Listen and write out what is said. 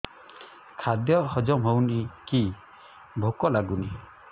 ଖାଦ୍ୟ ହଜମ ହଉନି କି ଭୋକ ଲାଗୁନି